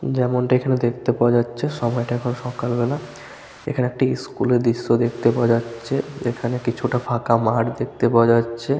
যেমনটি এখানে দেখতে পাওয়া যাচ্ছে সময়টা এখন সকাল বেলা । এখানে একটি স্কুল -এর দৃশ্য দেখতে পাওয়া যাচ্ছে। এখানে কিছুটা ফাঁকা মাঠ দেখতে পাওয়া যাচ্ছে।